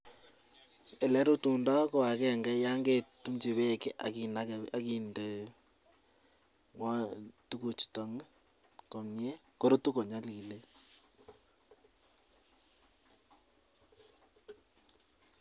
Elerutundo ko agenge ya ngekaitumchi bek akinde tukuchutan komnye korutu konyalilen.